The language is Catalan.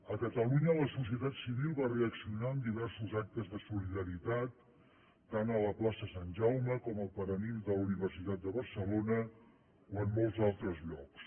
a catalunya la societat civil va reaccionar amb diversos actes de solidaritat tant a la plaça sant jaume com al paranimf de la universitat de barcelona o en molts altres llocs